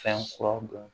Fɛn kuraw dɔn